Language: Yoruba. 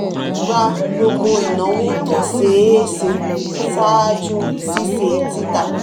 gba gbogbo inawo tó ṣeé ṣe ṣáájú ṣiṣe tita.